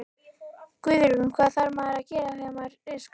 Guðrún: Hvað þarf maður að gera þegar maður er skáti?